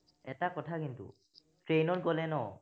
এটা কথা কিন্তু train ত গলে ন